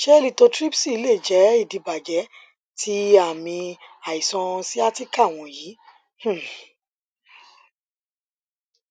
ṣe lithotripsy lè jẹ idibàjẹ ti aami aiṣan sciatica wọnyi um